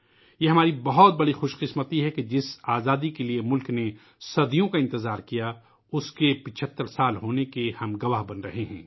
یہ ہماری بہت بڑی خوش قسمتی ہے کہ جس آزادی کے لئے ملک نے صدیوں کا انتظار کیا ، اُس کے 75 سال پورے ہونے کے ہم گواہ بن رہے ہیں